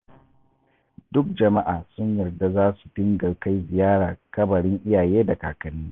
Duk Juma'a sun yarda za su dinga kai ziyara kabarin iyaye da kakanni